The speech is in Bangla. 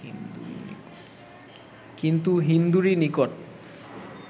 কিন্তু হিন্দুরই নিকট